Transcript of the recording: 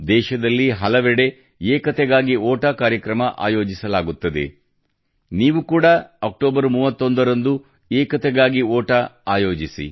ದೇಶದಲ್ಲಿ ಹಲವೆಡೆ ಏಕತೆಗಾಗಿ ಓಟ ಕಾರ್ಯಕ್ರಮ ಆಯೋಜಿಸಲಾಗುತ್ತದೆ ನೀವು ಕೂಡಾ ಅಕ್ಟೋಬರ್ 31 ರಂದು ಏಕತೆಗಾಗಿ ಓಟ ಆಯೋಜಿಸಿ